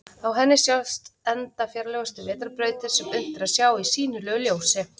Á henni sjást enda fjarlægustu vetrarbrautir sem unnt er að sjá í sýnilegu ljósi.